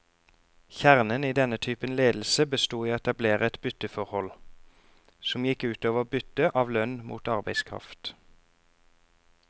Kjernen i denne typen ledelse bestod i å etablere et bytteforhold, som gikk ut over byttet av lønn mot arbeidskraft.